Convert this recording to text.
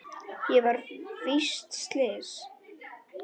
Ég var víst slys.